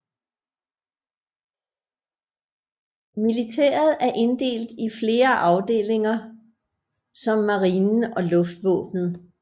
Militæret er inddelt i flere afdelinger som marinen og luftvåbenet